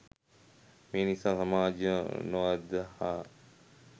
මේ නිසා සමාජය නොඅදහා